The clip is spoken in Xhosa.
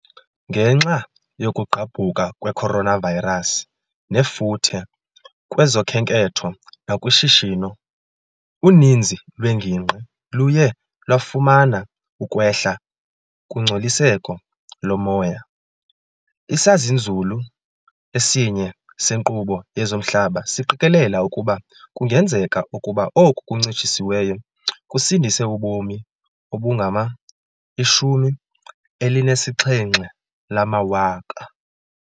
Ngenxa yokugqabhuka kwe coronavirus nefuthe kwezokhenketho nakushishino, uninzi lweengingqi luye lwafumana ukwehla kungcoliseko lomoya.. Isazinzulu esinye senkqubo yezomhlaba siqikelela ukuba kungenzeka ukuba oku kuncitshisiweyo kusindise ubomi obungama-78,000.